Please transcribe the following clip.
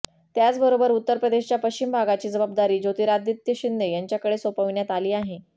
त्याचबरोबर उत्तर प्रदेशच्या पश्चिम भागाची जबाबदारी ज्योतिरादित्य शिंदे यांच्याकडे सोपविण्यात आली आहे